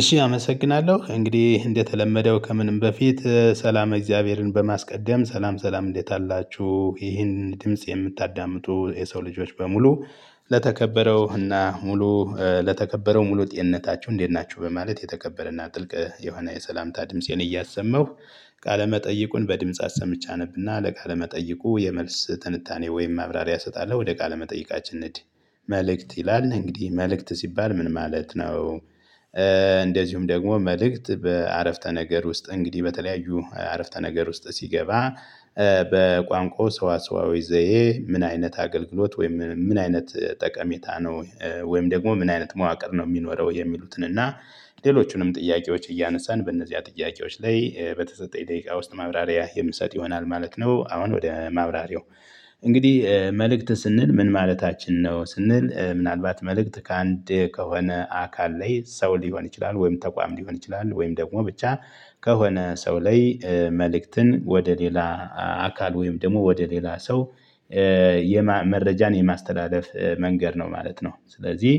እሺ አመሰግናለሁ እንግዲህ እንደተለመደው ከምንም በፊት ሰላም እግዚአብሔርን በማስቀደም ሰላም ሰላም እንዴት አላችሁ ይሄን ድምጽ የምታዳምጡ የሰው ልጆች በሙሉ። ለተከበረው እና ሙሉ ለተከበረው ሙሉ ጤንነታችሁ እንዴት ናችሁ በማለት የተከበረና ጥልቅ የሆነ የሰላምታ ድምፄን እያሰመሁ ቃለመጠይቁን በድምጽ አሰምቸ አነብና ለቃለመጠይቁ የመልስ ትንታኔ ወይም ማብራሪያ እሰጣለሁ ወደ ቃለመጠይቃችን መጠይቃችን እንሂድ። መልእክት ይላል እንግዲህ መልእክት ሲባል ምን ማለት ነው? እንደዚሁም ደግሞ መልእክት በአረፍተ ነገር ውስጥ እንግዲህ በተለያዩ አረፍተ ነገር ውስጥ ሲገባ። በቋንቋው ሰውዓሰዋዊ ዘየ ምን አይነት አገልግሎት ወይም ምን አይነት ጠቀሜታ ነው? ወይም ደግሞ ምን አይነት መዋቅር ነው የሚኖረው የሚሉትን እና። ሌሎቹንም ጥያቄዎች እያነሳን በእነዚያ ጥያቄዎች ላይ በተሰጠኝ ደቂቃ ውስጥ ማብራሪያ የምሰጥ ይሆናል ማለት ነው። አሁን ወደ ማብራሪያው። እንግዲህ መልእክት ስንል ምን ማለታችን ነው? ስንል ምናልባት መልእክት ከአንድ ከሆነ አካል ላይ ሰው ሊሆን ይችላል ወይም ተቋም ሊሆን ይችላል ወይም ደግሞ ብቻ ከሆነ ሰው ላይ መልእክትን ወደ ሌላ አካል ወይም ደግሞ ወደ ሌላ ሰው። መረጃን የማስተላለፍ መንገድ ነው ማለት ነው። ስለዚህ።